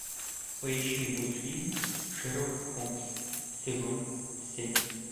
поищи мультфильм шерлок холмс сезон семь